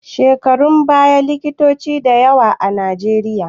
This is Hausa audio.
A shekarun baya ba likitoci da yawa a Najeriya